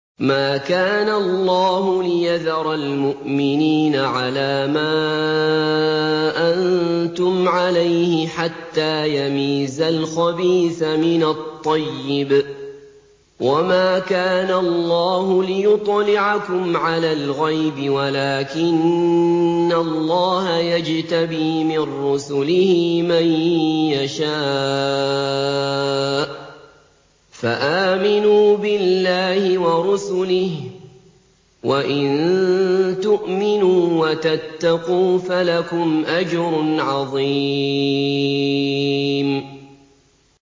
مَّا كَانَ اللَّهُ لِيَذَرَ الْمُؤْمِنِينَ عَلَىٰ مَا أَنتُمْ عَلَيْهِ حَتَّىٰ يَمِيزَ الْخَبِيثَ مِنَ الطَّيِّبِ ۗ وَمَا كَانَ اللَّهُ لِيُطْلِعَكُمْ عَلَى الْغَيْبِ وَلَٰكِنَّ اللَّهَ يَجْتَبِي مِن رُّسُلِهِ مَن يَشَاءُ ۖ فَآمِنُوا بِاللَّهِ وَرُسُلِهِ ۚ وَإِن تُؤْمِنُوا وَتَتَّقُوا فَلَكُمْ أَجْرٌ عَظِيمٌ